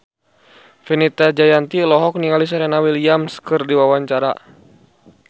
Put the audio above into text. Fenita Jayanti olohok ningali Serena Williams keur diwawancara